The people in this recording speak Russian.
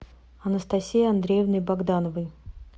анастасией андреевной богдановой